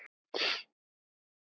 Linda var ein þriggja systra.